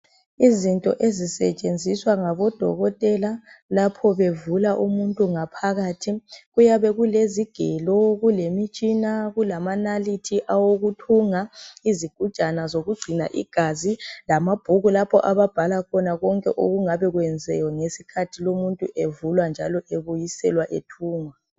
Izinto ezisetshenziswa ngabo dokotela lapho bevula umuntu ngaphakathi. Kuyabe kulezigelo, imitshina kulama nalithi okuthunga izigujana, igazi lamabhuku lapho ababhala khona konke okungabe kwenziwe ngesikhathi lumuntu evulwa njalo ebuyiselwa ethungwa.